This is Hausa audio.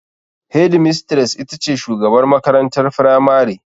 Hedimistres ita ce shugabar makarantar firamare.